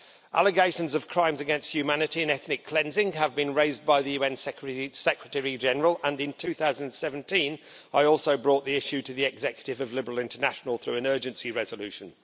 Allegations of crimes against humanity and ethnic cleansing have been raised by the UN Secretary General, and in 2017 I also brought the issue to the executive of Liberal International through an urgency resolution.